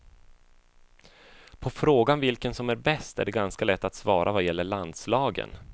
På frågan vilken som är bäst, är det ganska lätt att svara vad gäller landslagen.